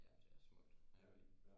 Ja det er smukt jeg kan godt lide det